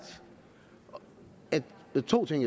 og der er to ting